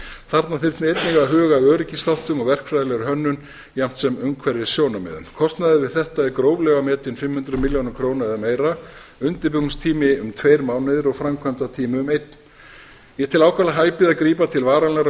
þarna þyrfti einnig að huga að öryggisþáttum og verkfræðilegri hönnun jafnt sem umhverfissjónarmiða kostnaður við þetta er gróflega metinn fimm hundruð milljón krónur eða meira undirbúningstími um tveir mánuðir og framkvæmdatími um einn ég tel ákaflega hæpið að grípa til varanlegrar